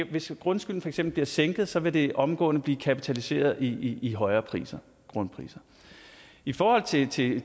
hvis grundskylden for eksempel bliver sænket så vil det omgående blive kapitaliseret i i højere grundpriser i forhold til til